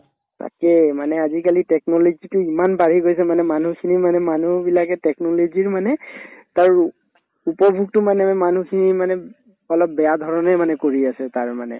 তাকেই মানে আজিকালি technology তো ইমান বাঢ়ি গৈছে মানে মানুহখিনি মানে মানুহবিলাকে technology ৰ মানে উপভোগতো মানে আমি মানুহখিনিয়ে মানে উব অলপ বেয়া ধৰণে মানে কৰি আছে তাৰ মানে